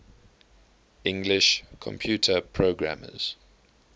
english computer programmers